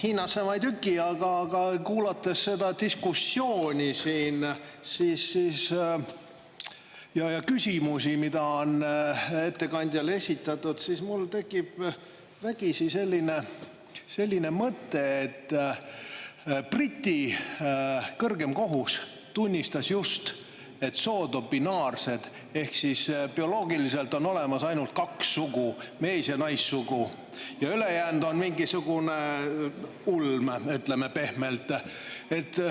Hiinasse ma ei tüki, aga kuulates seda diskussiooni siin ja küsimusi, mida on ettekandjale esitatud, siis mul tekib vägisi selline mõte, et Briti kõrgem kohus tunnistas just, et sood on binaarsed ehk siis bioloogiliselt on olemas ainult kaks sugu, mees- ja naissugu, ja ülejäänud on mingisugune ulme, ütleme pehmelt.